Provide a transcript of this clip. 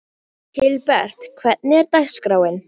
Hilbert, hvernig er dagskráin?